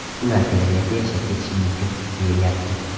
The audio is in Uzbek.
Ular kelajakda yashab ketishi mumkin, deyilyapti.